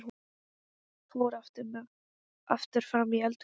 Fór aftur fram í eldhús.